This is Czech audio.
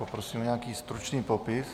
Poprosím o nějaký stručný popis.